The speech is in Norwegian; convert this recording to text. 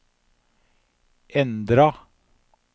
endra